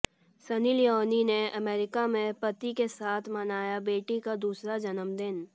सनी लियोनी ने अमेरिका में पति के साथ मनाया बेटी का दूसरा जन्मदिन